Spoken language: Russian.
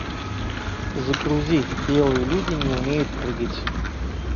загрузи белые люди не умеют прыгать